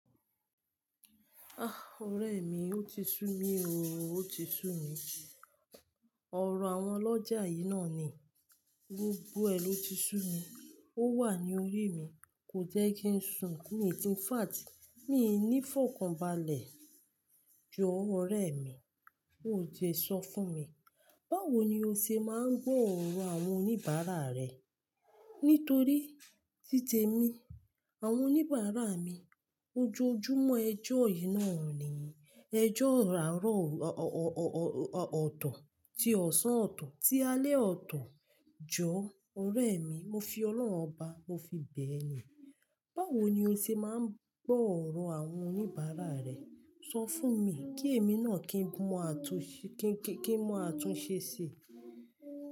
Ah! Ọ̀rẹ́ mi, o ti sú mi óò, o ti sú mi. Ọ̀rọ̀ àwọn ọlọ́jà yìí náà ni gbogbo ẹ lọ ti sú mi. Ó wà ní orí mi, kò jẹ́ kí n sùn, mi. In fact, mi ní fọ̀kàn balẹ̀ jọ, Ọ̀rẹ́ mi. O jẹ sọ fún mi, báwo ni o ṣe máa ń gbọ̀ irọ̀ àwọn oníbàárà rẹ? Nítorí títẹ mí, àwọn oníbàárà mi ojoojúmọ́ ẹjọ́ yìí náà ni. Ẹjọ́ àárọ̀ ọ, ọ, ọ, ọ, ọ, ọ, ọ̀tọ̀ tí ọ̀sán ọ̀tọ̀ tí alẹ́ ọ̀tọ̀ jọ Ọ̀rẹ́ mi, mo fi Ọlọ́run ọba, mo fi bẹ̀ ẹ́ ni. Báwo ni o ṣe máa ń gbọ̀ ọ̀rọ̀ àwọn oníbàárà rẹ? Sọ fún mi, kí èmi náà kí n mọ àtúnṣe, kí n, kí n mọ àtúnṣe síi.